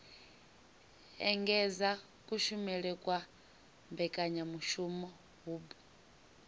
engedza kushumele kwa mbekanyamushumo hub